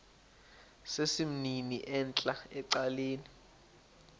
sesimnini entla ecaleni